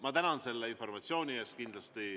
Ma tänan selle informatsiooni eest.